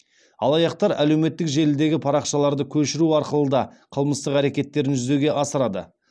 алаяқтар әлеуметтік желідегі парақшаларды көшіру арқылы да қылмыстық әрекеттерін жүзеге асырады